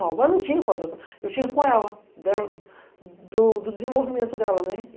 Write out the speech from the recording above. Mas eu não tinha com as outras, eu tinha com ela, dela, do do desenvolvimento dela, né.